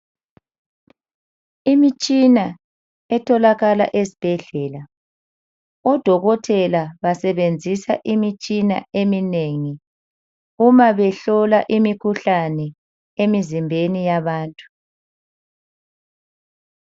Imitshina etholakala ezibhedlela. Odokotela basebenzisa imitshina eminengi uma behlola imikhuhlane emizimbeni yabantu.